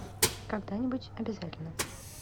когда нибудь обязательно